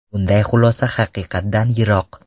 Bunday xulosa haqiqatdan yiroq.